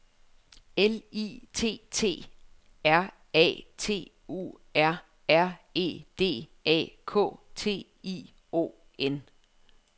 L I T T E R A T U R R E D A K T I O N